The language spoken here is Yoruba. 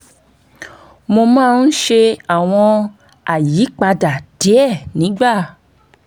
mo máa ń ṣe àwọn àyípadà díẹ̀ nígbà